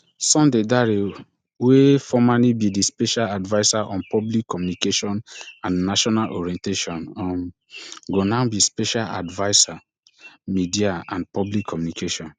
sunday dare wey formally be di special adviser on public communication and national orientation um go now be special adviser media and public communications